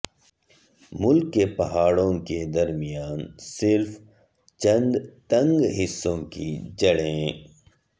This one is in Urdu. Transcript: ملک کے پہاڑوں کے درمیان صرف چند تنگ حصئوں کی جڑیں